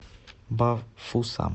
бафусам